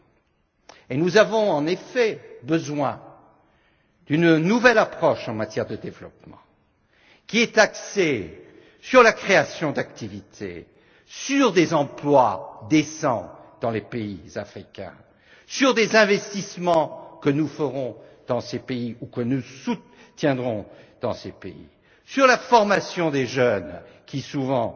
En effet, nous avons besoin d'une nouvelle approche en matière de développement axée sur la création d'activités, sur des emplois décents dans les pays africains, sur des investissements que nous ferons ou que nous soutiendrons dans ces pays, sur la formation des jeunes qui est souvent